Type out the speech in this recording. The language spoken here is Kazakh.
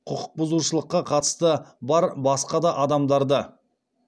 құқық бұзушылыққа қатысты бар басқа да адамдарды